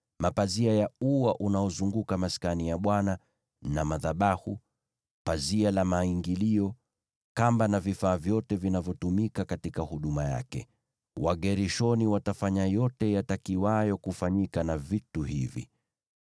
mapazia ya ua unaozunguka Maskani na madhabahu, pazia la maingilio, kamba na vifaa vyote vinavyotumika katika huduma yake. Wagershoni watafanya yote yatakiwayo kufanyika na vitu hivi.